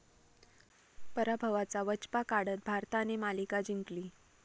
पराभवाचा वचपा काढत भारताने मालिका जिंकली